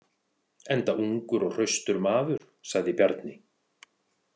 Enda ungur og hraustur maður, sagði Bjarni.